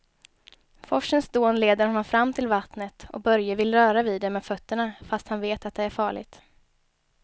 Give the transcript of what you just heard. Forsens dån leder honom fram till vattnet och Börje vill röra vid det med fötterna, fast han vet att det är farligt.